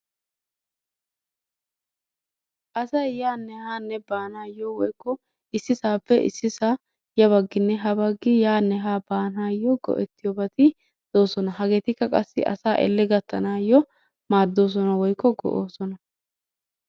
Asay yaanne haanne baanaayo woykko issisaappe issisaa yabaginnenne habagi yaanne haa baaanayp go'ettiyobati doososna. Hageetikka qassi asaa elle gatanaayo, maadosona woykko go'oosona.